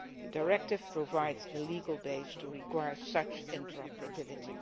The directive provides the legal base to require such interoperability.